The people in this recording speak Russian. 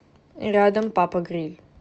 рядом папа гриль